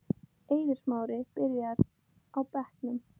Eiður Smári byrjar á bekknum